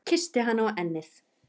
Kyssti hana á ennið.